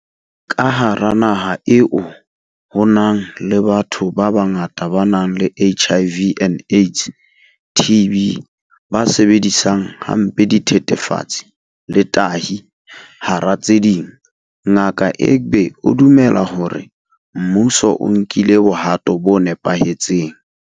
Ka hara naha eo ho nang le batho ba bangata ba nang le HIV and AIDS, TB, ba sebedisang hampe dithethefatsi le tahi, hara tse ding, Ngaka Egbe o dumela hore mmuso o nkile bohato bo nepahetseng.